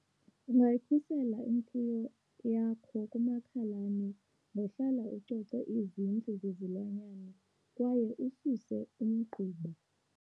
Ungayikhusela imfuyo yakho kumakhalane ngohlala ucoce izindlu zezilwanyana kwaye ususe umgquba.